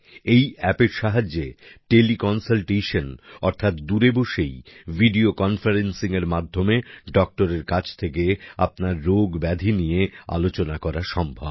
এই এপ এর সাহায্যে টেলি কন্সালটেশন অর্থাৎ দূরে বসেই ভিডিও কনফারেন্সিঙের মাধ্যমে ডক্টরের কাছ থেকে আপনার রোগ ব্যাধি নিয়ে আলোচনা করা সম্ভব